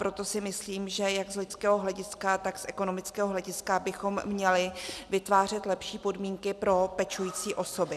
Proto si myslím, že jak z lidského hlediska, tak z ekonomického hlediska bychom měli vytvářet lepší podmínky pro pečující osoby.